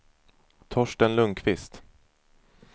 Torsten Lundquist